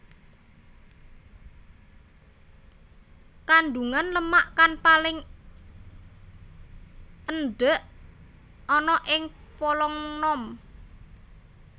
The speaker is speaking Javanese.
Kandungan lemak kang paling endhék ana ing polong nom